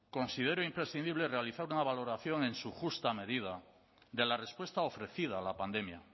considero imprescindible realizar una valoración en su justa medida de la respuesta ofrecida a la pandemia